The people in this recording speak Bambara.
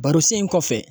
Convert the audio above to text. Baro sen in kɔfɛ